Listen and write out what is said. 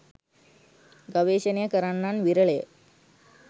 ගවේශණය කරන්නන් විරලය.